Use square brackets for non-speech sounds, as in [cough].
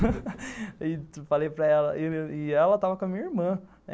[laughs] falei para ela, e ela estava com a minha irmã.